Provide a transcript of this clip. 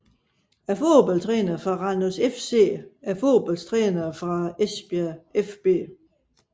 Fodboldtrænere fra Randers FC Fodboldtrænere fra Esbjerg fB